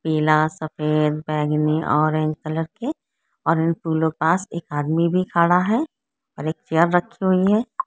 पीला सफेद बेगानी ऑरेंज कलर की ऑरें फूलों के पास एक आदमी भी खड़ा है और एक चेआर रखी हुई है।